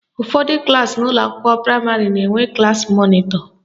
Ụfọdụ klaasị n'ụlọakwụkwọ praịmarị na-enwe klassi mọnịtọ